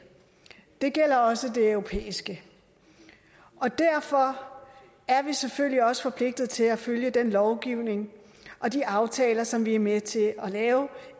det gælder også det europæiske og derfor er vi selvfølgelig også forpligtede til at følge den lovgivning og de aftaler som vi er med til at lave